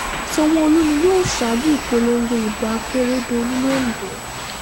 sanwó-olu ni yóò sàájú ìpolongo ìbò akérèdọ́lù londo